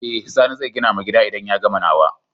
Eh sani zai gina ma gida idan ya gama nawa